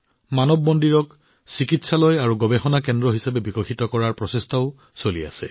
মানৱ মন্দিৰক চিকিৎসালয় আৰু গৱেষণা কেন্দ্ৰ হিচাপে বিকশিত কৰাৰ প্ৰচেষ্টাও চলি আছে